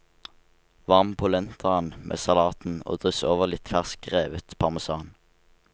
Varm polentaen med salaten og dryss over litt fersk revet parmesan.